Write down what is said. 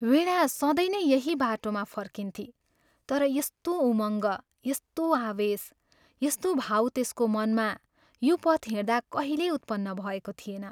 वीणा सधैँ नै यही बाटोबाट फर्कन्थी तर यस्तो उमङ्ग, यस्तो आवेश, यस्तो भाव त्यसको मनमा यो पथ हिंड्दा कहिल्यै उत्पन्न भएको थिएन।